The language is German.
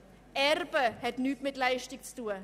Erben hat nichts mit Leistung zu tun.